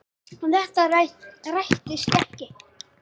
Þetta rættist ekki.